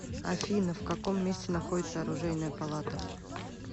афина в каком месте находится оружейная палата